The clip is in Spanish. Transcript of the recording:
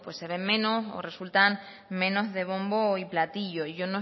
pues se ven menos o resultan menos de bombo y platillo